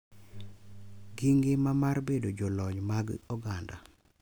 Gi ngima mar bedo jolony mag oganda.